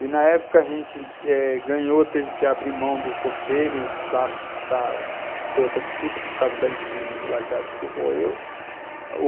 E, na época, a gente eh ganhou, teve que abrir mão do conselho para para ter outra disputa, por causa das irregularidades que ocorreu.